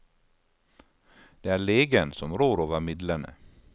Det er legen som rår over midlene.